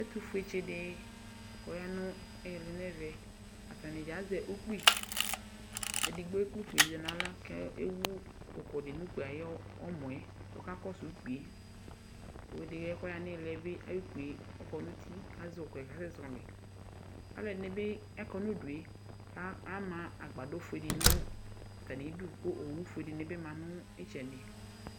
ɛtufue tchiɖi kɔ ya nu ɛʋɛ atanidƶa azɛ upki edigbo kple upkiyɛ du nu ala ku ewu uko du nu ukpi yɔ mɔe ɔka kɔ su kpie ku ily suɛ by ayu kpie ɔkɔ nu uti kayɔ kuɛ kasɛ zɔli alɔɖiniby akɔ nu due ama agbaɖɔ ƒue nu idu ku owu ƒue dini bi ma nu itchɛdi